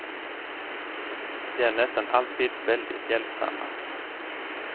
De är nästan alltid väldigt hjälpsamma.